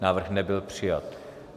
Návrh nebyl přijat.